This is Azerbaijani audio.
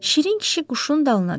Şirin kişi quşun dalına düşdü.